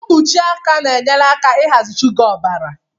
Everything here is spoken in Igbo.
Mkpuchi aka na-enyere aka ịhazi shuga ọbara